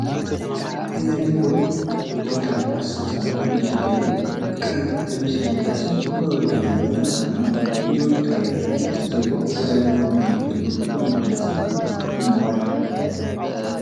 የላይፍቦይ ቶታል 10 ሳሙና ማሸጊያ ላይ፣ ቀይ ልብስ የለበሰ ፈገግታ ያለው ልጅ ሳሙናውን ይዞ ይታያል። ከበስተጀርባው ወላጆቹ ሊሆኑ የሚችሉ ወንድና ሴት ሰው ቆመዋል።